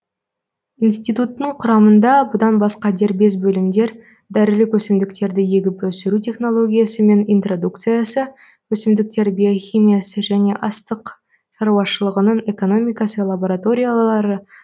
институттың құрамында бұдан басқа дербес бөлімдер дәрілік өсімдіктерді егіп өсіру технологиясы мен интродукциясы өсімдіктер биохимиясы және астық шаруашылығының экономикасы лабораториялары